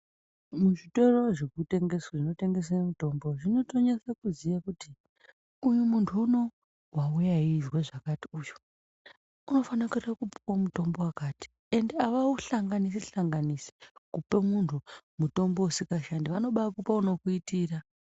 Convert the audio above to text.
Muzvitoro zvinotengese mitombo zvinotonyasa kuziya kuti uyu muntu unowu wauya weizwa zvakati uyu unofana kuenda kopuwa mutombo wakati ende avauhlanganisi-hlanganisi kupe muntu mutombo usikashandi vanobakupa unokuitira.